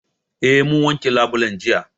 Eh mun wanke labulen jiya